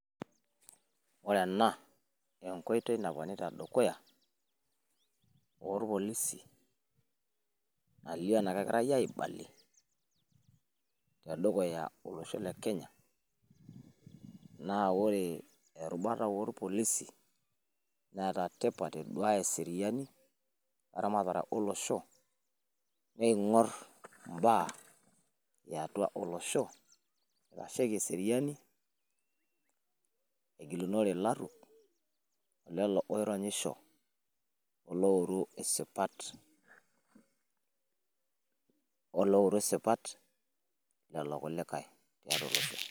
ore ena naponita dukuya orpolisi, nalio ana keegirae aibalie tedukuya olosho le kenya. naa ore erubata oorpolisi neeta tipat eduaya eseriani, eramatata olosho. neingor ibaa eyatua olosho, eitaasheiki eseriani, egilunore ilaruo, kulo ooru isipat, olo ouru sipat lelo kulikae tiatua olosho.